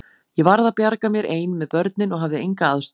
Ég varð að bjarga mér ein með börnin og hafði enga aðstoð.